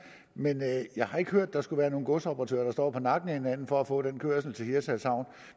men jeg har ikke hørt at der skulle være nogen godsoperatører som står på nakken af hinanden for at få den kørsel til hirtshals havn